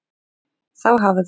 Þá hafði